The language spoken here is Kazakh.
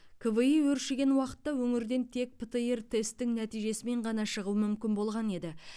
кви өршіген уақытта өңірден тек птр тесттің нәтижесімен ғана шығу мүмкін болған еді